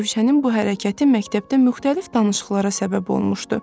Rövşənin bu hərəkəti məktəbdə müxtəlif danışıqlara səbəb olmuşdu.